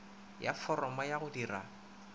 ya foromo ya go dira